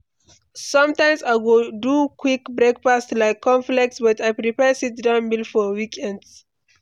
Sometimes, I go do quick breakfast like cornflakes, but I prefer sit-down meal for weekends.